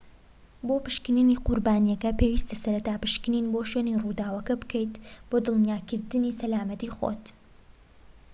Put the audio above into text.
بۆ پشکنینی قوربانیەکە پێویستە سەرەتا پشکنین بۆ شوێنی ڕووداوەکە بکەیت بۆ دڵنیاکردنی سەلامەتی خۆت